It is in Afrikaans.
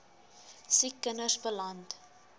siek kinders beland